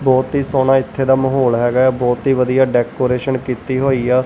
ਬਹੁਤ ਹੀ ਸੋਹਣਾ ਇੱਥੇ ਦਾ ਮਹੌਲ ਹੈਗਾ ਐ ਬਹੁਤ ਹੀ ਵਧੀਆ ਡੈਕੋਰੇਸ਼ਨ ਕੀਤੀ ਹੋਈ ਐ।